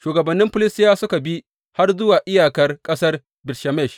Shugabannin Filistiyawa suka bi har zuwa iyakar ƙasar Bet Shemesh.